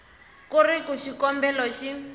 ku ri ku xikombelo xi